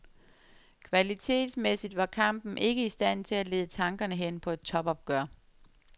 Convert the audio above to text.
Kvalitetsmæssigt var kampen ikke i stand til at lede tankerne hen på et topopgør.